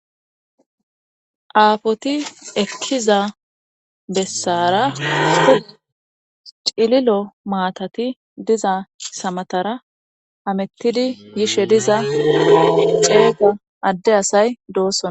Aafoti ekkiza bessara cililo maatati diza samatara amettidi yishe diza ceequ adde asay doossona.